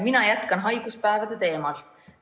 Mina jätkan haiguspäevade teemal.